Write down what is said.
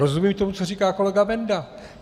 Rozumím tomu, co říká kolega Benda.